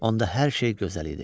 Onda hər şey gözəl idi.